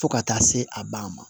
Fo ka taa se a ban ma